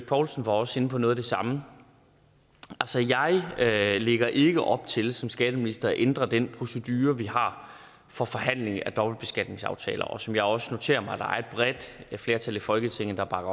poulsen var også inde på noget af det samme altså jeg lægger ikke op til som skatteminister at ændre den procedure vi har for forhandling af dobbeltbeskatningsaftaler og som jeg også noterer mig der er et bredt flertal i folketinget der bakker